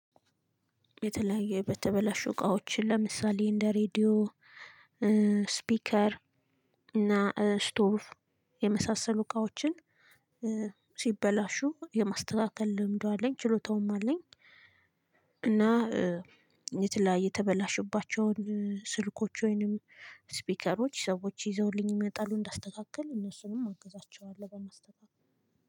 የተለያዩ የተበላሹ እቃዎች ለምሳሌ እንደ ሬድዮ ስፒከር እና ስቶቭ የመሳሰሉ እቃዎችን ሲበላሹ የማስተካከል ልምዱ አለኝ ችሎታውም አለኝ። እና የተለያየ የተበላሽባቸውን ስልኮች ወይንም ስፒከሮች ሰዎች ይዘውልኝ ይመጣሉ እንዳስተካክል እነሱንም አግዛቸዋለሁ በማስተካከል።